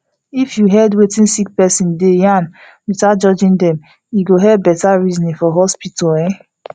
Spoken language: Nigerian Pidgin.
if you head wetin sick person deg yarn without judging dem e go helep better reasoning for hospital um